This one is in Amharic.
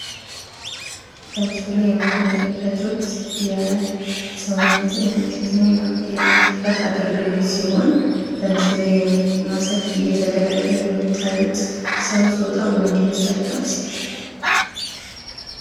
በምስሉ ላይ የምትመለከቱት የሰውነትን የማሸትና የማፍታት አገልግሎት ሲሆን፤ በምስሉ ላይ ማሳጅ እየተደረገ የምታዩት ጾታው ወንድ ወይስ ሴት?